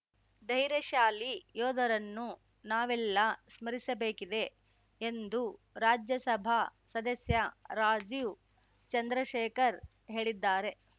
ಧೈರ್ಯಶಾಲಿ ಯೋಧರನ್ನು ನಾವೆಲ್ಲ ಸ್ಮರಿಸಬೇಕಿದೆ ಎಂದು ರಾಜ್ಯಸಭಾ ಸದಸ್ಯ ರಾಜೀವ್‌ ಚಂದ್ರಶೇಖರ್ ಹೇಳಿದ್ದಾರೆ